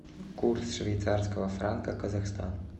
курс швейцарского франка казахстан